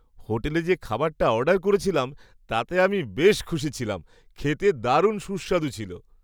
হোটেলে যে খাবারটা অর্ডার করেছিলাম তাতে আমি বেশ খুশি ছিলাম। খেতে দারুণ সুস্বাদু ছিল।